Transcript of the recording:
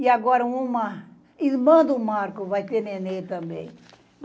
E agora uma... Irmã do Marco vai ter nenê também.